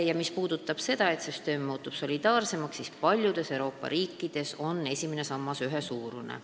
Ja mis puudutab seda, et süsteem muutub solidaarsemaks, siis paljudes Euroopa riikides on esimene sammas ühesuurune.